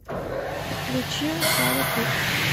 включи садат икс